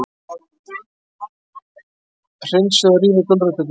Hreinsið og rífið gulræturnar.